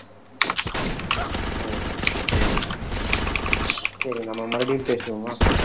ஒ சரி சரி சரி நம்ம மறுபடியும் பேசுவோமா